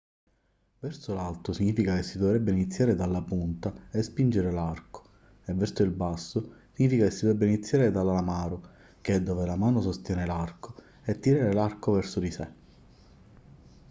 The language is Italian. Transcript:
verso l'alto significa che si dovrebbe iniziare dalla punta e spingere l'arco e verso il basso significa che si dovrebbe iniziare dall'alamaro che è dove la mano sostiene l'arco e tirare l'arco verso di sé